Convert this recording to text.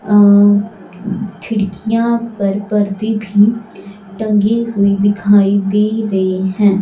अह खिड़कियां पर पर्दे भी टंगे हुए दिखाई दे रहे हैं।